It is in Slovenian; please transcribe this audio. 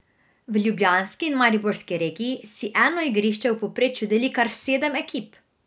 V ljubljanski in mariborski regiji si eno igrišče v povprečju deli kar sedem ekip!